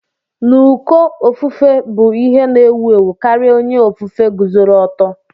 N'uko ofufue bụ ihe na-ewu ewu karịa onye ofufe guzoro oto